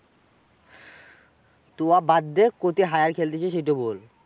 তু উহা বাদ দে, কোথায় hire খেলতেছিস সেইটা বল?